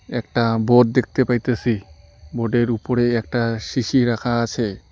একটা বোর্ড দেখতে পাইতাসি বোর্ডের উপরে একটা শিশি রাখা আসে।